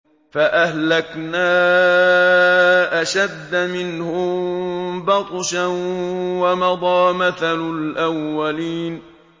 فَأَهْلَكْنَا أَشَدَّ مِنْهُم بَطْشًا وَمَضَىٰ مَثَلُ الْأَوَّلِينَ